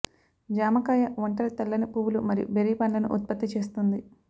జామకాయ ఒంటరి తెల్లని పువ్వులు మరియు బెర్రీ పండ్లను ఉత్పత్తి చేస్తుంది